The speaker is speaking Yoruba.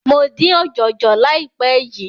Mo dín ọ̀jọ̀jọ̀ láìpé yìí.